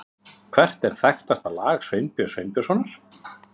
Hvert er þekktasta lag Sveinbjörns Sveinbjörnssonar?